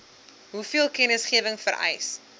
hoeveel kennisgewing vereis